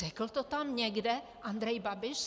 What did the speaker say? Řekl to tam někde Andrej Babiš?